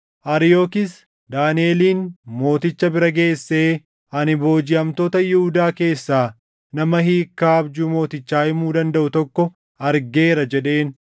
Ariyookis Daaniʼelin mooticha bira geessee, “Ani boojiʼamtoota Yihuudaa keessaa nama hiikkaa abjuu mootichaa himuu dandaʼu tokko argeera” jedheen.